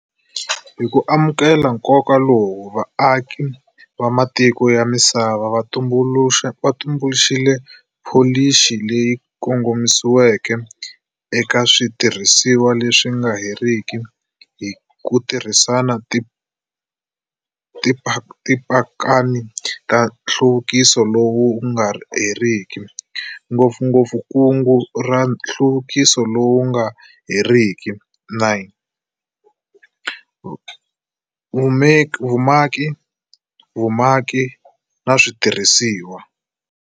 Hi ku amukela nkoka lowu, vaaki va matiko ya misava va tumbuluxile pholisi leyi kongomisiweke eka switirhisiwa leswi nga heriki hi ku tirhisa Tipakani ta Nhluvukiso lowu nga heriki, ngopfungopfu Kungu ra Nhluvukiso lowu nga heriki 9" Vumaki, Vumaki na Switirhisiwa".